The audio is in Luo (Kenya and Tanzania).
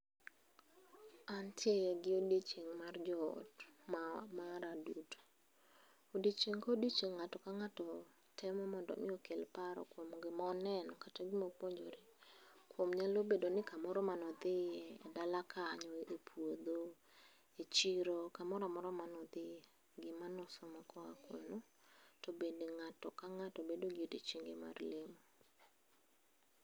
Antie gi odiechieng' mar joot ma mara duto. Odiochieng' kodiochieng' ng'ato kang'ato temo mondo omi okel paro kuom gimoneno kata gimopuonjore kuom nyalo bedo ni kamoro manodhiye e dala kanyo, e puodho, e chiro, kamoramora manodhiye, gima nosomo koa kuno, to bende ng'ato kang'ato bedo gi odiochienge mar lemo